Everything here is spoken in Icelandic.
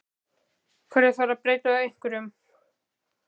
Hverju þarf að breyta ef þá einhverju?